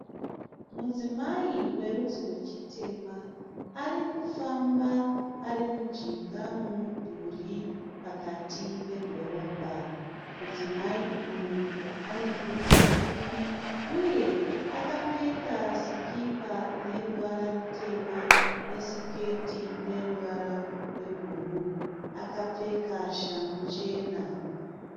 Mudzimai werudzi rwechitema arikufamba arimujinga momudhuri pakati pedhorobha. Mudzimai uyu anebvudzi pfupi uye akapfeka sikipa ineruvara rutema nesiketi ineruvara rwebhuruu. Akapfeka shangu chena.